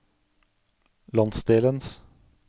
landsdelens